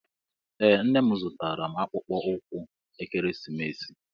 Ee nne m zụtara m akpụkpọ ụkwụ ekeresimesi